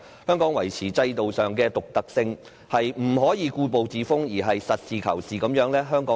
香港要維持制度上的獨特性，不可以故步自封，而要實事求是。